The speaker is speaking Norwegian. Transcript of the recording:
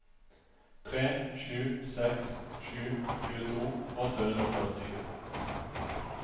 tre sju seks sju tjueto åtte hundre og førtisju